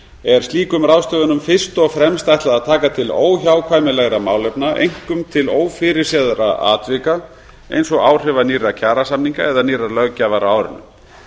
er slíkum ráðstöfunum fyrst og fremst ætlað að taka til óhjákvæmilegra málefna einkum til ófyrirséðra atvika eins og áhrifa nýrra kjarasamninga eða nýrrar löggjafar á árinu